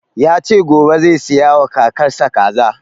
Ya ce gobe zai saya wa kakar sa kaza